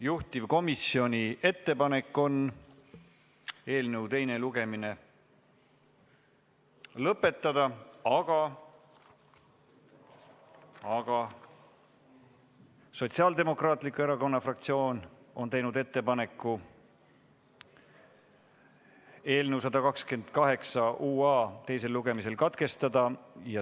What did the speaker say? Juhtivkomisjoni ettepanek on eelnõu teine lugemine lõpetada, aga Sotsiaaldemokraatliku Erakonna fraktsioon on teinud ettepaneku eelnõu 128 UA teisel lugemisel katkestada.